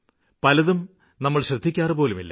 പലതും നമ്മള് ശ്രദ്ധിക്കാറുപോലുമില്ല